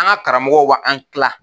An ka karamɔgɔw ba an kila.